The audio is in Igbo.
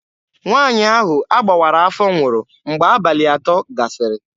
Nwaanyị ahụ a gbawara afọ nwụrụ mgbe abalị atọ gasịrị.